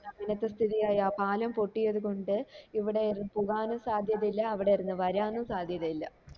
അങ്ങിനത്തെ സ്ഥിതിയായി ആ പലം പൊട്ടിയത് കൊണ്ട് ഇവിടെ ഒരു പുകാനു സദ്യത ഇല്ല അവിടെ ഇരുന്നു വരാന് സാധ്യത ഇല്ല